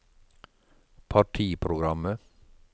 partiprogrammet